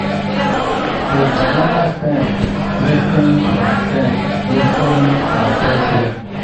the banana stems glis ten ed from stems glis ten ed from fresh rain.